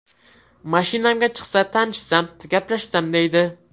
Mashinamga chiqsa, tanishsam, gaplashsam deydi.